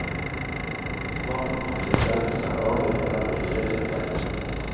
Smak og konsistens er avgjørende og gir flest poeng.